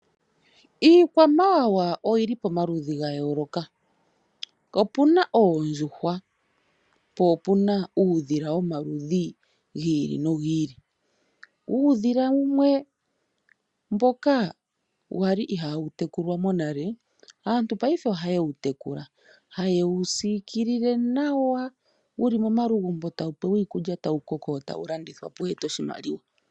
Iikwamawawa oyi li pomaludhi ga yooloka. Opu na oondjuhwa, po opu na uudhila womaludhi gi ili nogi ili. Uudhila wumwe mboka wa li ihaawu tekulwa monale, aantu paife ohaye wu tekula; haye wu siikilile nawa, wu li momagumbo tawu pewa iikulya, tawu koko, e tawu landithwa po wu ete oshimaliwa.